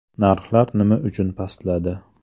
Narxlar nima uchun pastladi?